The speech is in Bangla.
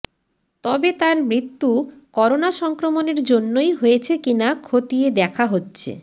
তবে তাঁর মৃত্য়ু করোনা সংক্রমণের জন্য়ই হয়েছে কিনা খতিয়ে দেখা হচ্ছে